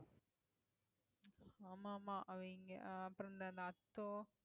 ஆமா ஆமா அவங்க அஹ் அப்புறம் இந்த aatho